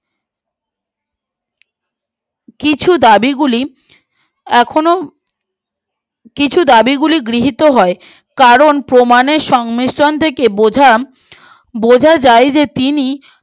এখন কিছু দাবি গুলি এখনো কিছু দাবি গুলি গৃহীত হয় কারণ প্রমাণের সংমিশ্রণ থেকে বোঝা বোঝা যায় যে তিনি